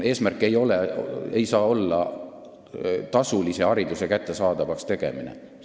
Eesmärk ei saa olla tasulise hariduse kättesaadavaks tegemine.